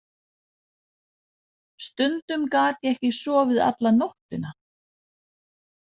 Stundum gat ég ekki sofið alla nóttina.